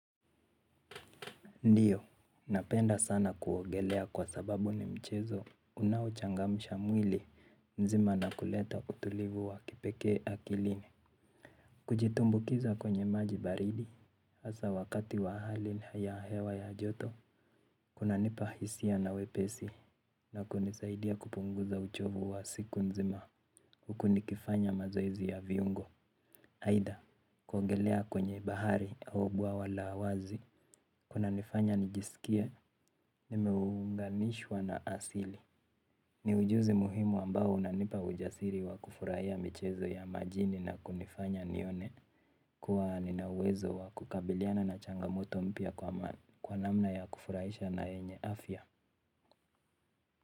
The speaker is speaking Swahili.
Ndiyo, napenda sana kuogelea kwa sababu ni mchezo unaochangamsha mwili mzima na kuleta utulivu wa kipekee akili. Kujitumbukiza kwenye maji baridi, hasa wakati wa hali ya hewa ya joto, kunanipa hisia na wepesi na kunisaidia kupunguza uchovu wa siku nzima huku nikifanya mazoezi ya viungo. Aidha, kuogelea kwenye bahari au bwawa la wazi, kunanifanya nijisikie, nimeunganishwa na asili. Ni ujuzi muhimu ambao unanipa ujasiri wa kufurahia michezo ya majini na kunifanya nione kuwa nina uwezo wa kukabiliana na changamoto mpya kwa namna ya kufurahisha na yenye afya.